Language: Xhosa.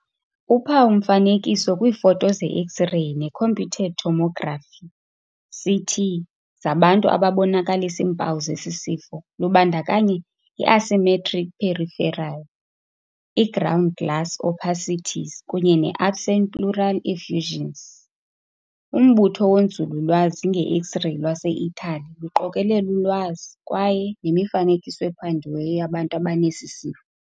Uphawu-mfanekiso kwiifoto ze-X-reyi neComputed Tomography, CT, zabantu ababonakalisa iimpawu zesisifo lubandakanya i-asymmetric peripheral, iground glass opacities kunye ne-absent pleural effusions. Umbutho wonzululwazi ngeX-reyi lwaseItaly luqokelela ulwazi kwaye nemifanekiso ephandiweyo yabantu abanesisifo.